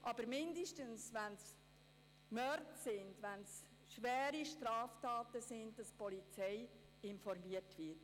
Wenigstens in Mordfällen oder bei schweren Straftaten sollte die Polizei informiert werden.